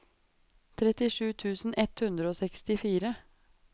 trettisju tusen ett hundre og sekstifire